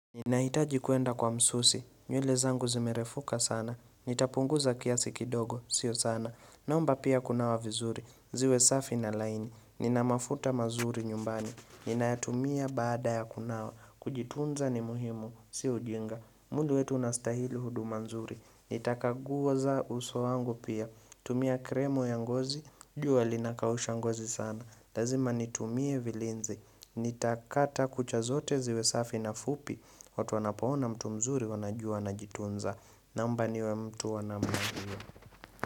Ninahitaji kuenda kwa msusi, nywele zangu zimerefuka sana, nitapunguza kiasi kidogo, sio sana, naomba pia kunawa vizuri, ziwe safi na laini, nina mafuta mazuri nyumbani, ninayatumia baada ya kunawa, kujitunza ni muhimu, si ujinga, mwili wetu unastahili huduma nzuri, nitakaguza uso wangu pia, tumia kremu ya ngozi, jua linakausha ngozi sana, lazima nitumie vilinzi, nitakata kucha zote ziwe safi na fupi, watu wanapaona mtu mzuri wanajua anajitunza Naomba niwe mtu.